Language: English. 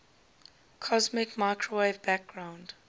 cosmic microwave background